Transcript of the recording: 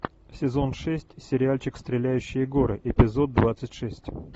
сезон шесть сериальчик стреляющие горы эпизод двадцать шесть